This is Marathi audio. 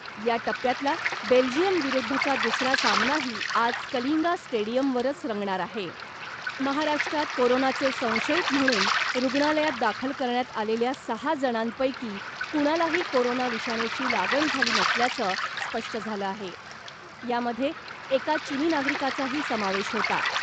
या टप्प्यातला बेल्जियम विरुद्धचा दुसरा सामनाही आज कलिंगा स्टेडियमवरच रंगणार आहे. महाराष्ट्रात कोरोनाचे संशयित म्हणून रुग्णालयात दाखल करण्यात आलेल्या सहा जणांपैकी कुणालाही कोरोना विषाणूची लागण झाली नसल्याचं स्पष्ट झालं आहे. यामध्ये एका चीनी नागरिकाचाही समावेश होता .